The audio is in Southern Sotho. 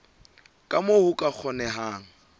ka moo ho ka kgonehang